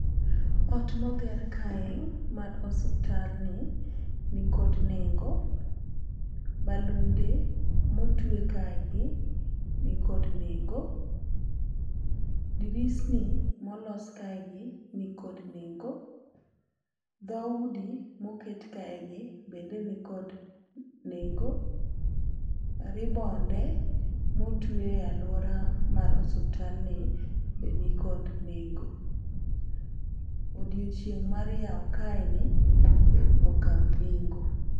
Ot moger kae mar osuptal ni nikod nengo, balunde motwe kaegi nikod nengo, dirisni molos kae gi nikod nengo , dhoudi moket kae gi bende nikod nengo , ribbonde motwe aluora mar osuptal ni be nikod nengo. Odiochieng' mar yawo kaeni be okawo nengo.